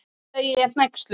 segi ég hneyksluð.